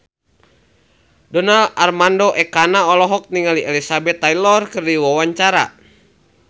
Donar Armando Ekana olohok ningali Elizabeth Taylor keur diwawancara